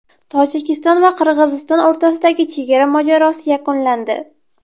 Tojikiston va Qirg‘iziston o‘rtasidagi chegara mojarosi yakunlandi.